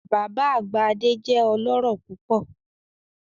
Baba agba Ade jẹ ọlọrọ pupọ